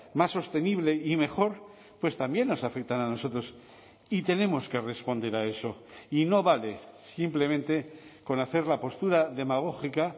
más sostenible y mejor pues también nos afectan a nosotros y tenemos que responder a eso y no vale simplemente con hacer la postura demagógica